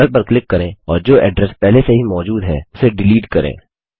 URL पर click करें और जो अड्रेस पहले से ही मौजूद है उसे डिलीट करें